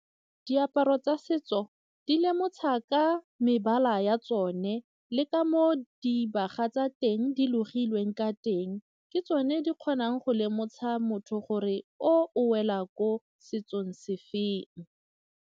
Diaparo tsa setso di mebala ya tsone le ka moo dibaga tsa teng di logilweng ka teng ke tsone di kgonang go lemosa motho gore o wela ko setsong sefeng.